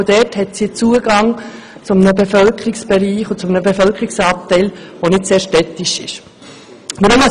Auch hier hat sie Zugang zu einer Bevölkerungsgruppe, die nicht sehr städtisch geprägt ist.